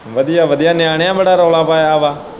ਵਧੀਆ-ਵਧੀਆ ਨਿਆਣਿਆਂ ਬੜਾ ਰੌਲ਼ਾ ਪਾਇਆ ਵਾਂ।